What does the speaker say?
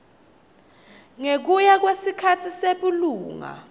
ngekuya kwesikhatsi sebulunga